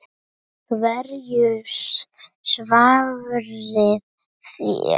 Hverju svarið þér?